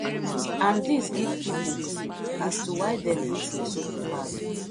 and dis give pipo clue as to why dem hit lesotho hard